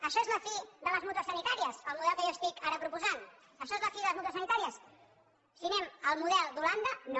això és la fi de les mútues sanitàries el model que jo estic ara proposant això és la fi de les mútues sanitàries si anem al model d’holanda no